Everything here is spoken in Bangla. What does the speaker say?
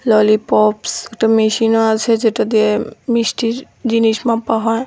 ললিপপস একটা মেশিনও আছে যেটা দিয়ে মিষ্টির জিনিস মাপা হয়।